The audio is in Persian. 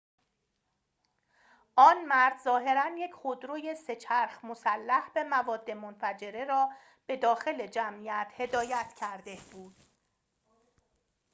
آن مرد ظاهراً یک خودروی سه‌چرخ مسلح به مواد منفجره را به داخل جمعیت هدایت کرده بود